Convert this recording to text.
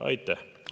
Aitäh!